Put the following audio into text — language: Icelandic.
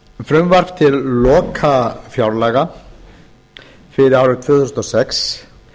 frumvarp til lokafjárlaga fyrir árið tvö þúsund og sex